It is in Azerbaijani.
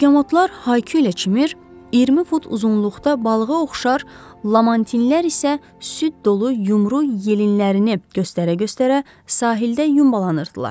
Begamotlar ha yəçimir, 20 fut uzunluqda balığa oxşar lamantinlər isə süd dolu yumru yelinlərini göstərə-göstərə sahildə yumbalanırdılar.